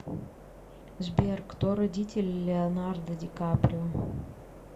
сбер кто родители леонардо ди каприо